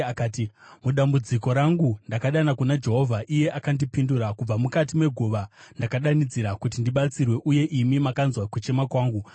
Akati: “Mudambudziko rangu ndakadana kuna Jehovha, iye akandipindura. Kubva mukati meguva ndakadanidzira kuti ndibatsirwe, uye imi makanzwa kuchema kwangu.